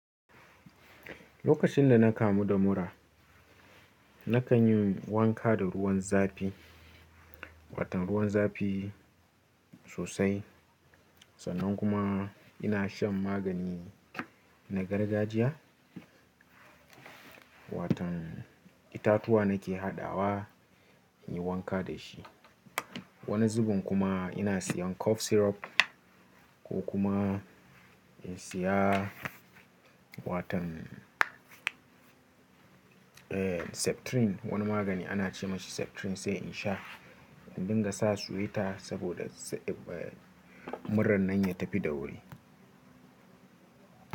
Lokacin da na kamu da mura, na kan yi wanka da ruwan zafi, watan ruwan zafi sosai. Sannan kuma ina shan magani na gargajiya. Watan itatuwa nake hadawa, in yi wanka da shi. Wani zuben kuma ina siyan cough syrup ko kuma in siya watan septrin. Wani magani ana ce masa septrin sai in sha don in dinga sa suyi ta saboda murar nan ya tafi da wuri.